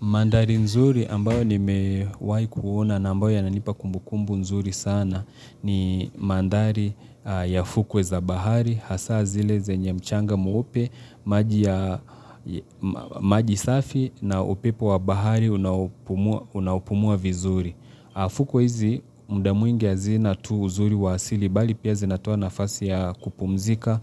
Mandhari nzuri ambayo ni mewai kuona na ambayo ya nanipa kumbukumbu nzuri sana ni mandhari ya fukwe za bahari, hasa zile zenye mchanga mweupe, maji safi na upepo wa bahari unaopumua vizuri. Fukwe hizi mdamwingia zina tu uzuri wasili bali pia zinatoa nafasi ya kupumzika,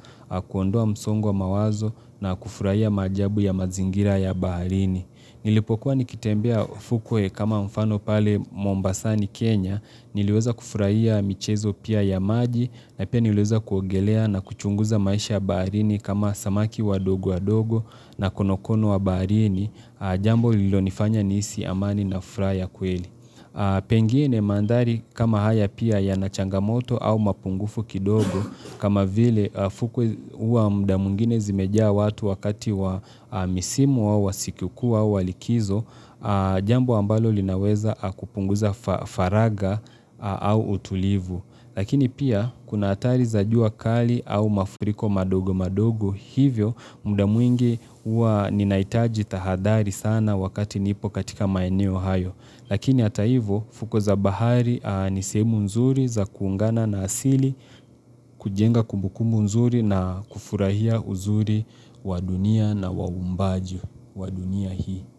kuondoa msongo wa mawazo na kufuraiya maajabu ya mazingira ya baharini. Nilipokuwa nikitembea Fukuwe kama mfano pale Mombasani, Kenya, niliweza kufuraiya michezo pia ya maji na ipia niliweza kuongelea na kuchunguza maisha baharini kama samaki wadogo wadogo na konokono wa baharini, jambo lilo nifanya nihisi amani na furaha ya kweli. Pengine mandhari kama haya pia ya nachangamoto au mapungufu kidogo kama vile fukwe huwa mdamwingine zimejaa watu wakati wa misimu au wasikukuu au walikizo Jambo ambalo linaweza kupunguza faraga au utulivu Lakini pia kuna atari zajua kali au mafuriko madogo madogo Hivyo mdamwingi ua ninaitaji tahadhari sana wakati nipo katika maeneo hayo Lakini ataivo fuko za bahari nisehemu nzuri za kuungana na asili kujenga kumbukumu nzuri na kufurahia uzuri wa dunia na waumbaji wa dunia hii.